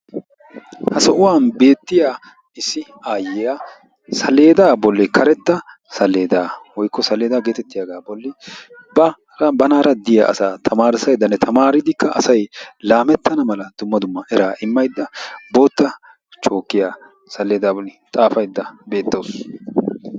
Ha sohuwan beettiya issi aayyiya saleedaa bolli karetta saleedaa woykko saleedaa geetettiyagaa bolli ba banaara diya asaa tamaarissayddanne tamaaridikka asay laamettana mala dumma dumma eraa immaydda bootta chookkiya saleedaa bolli xaafaydda beettawusu.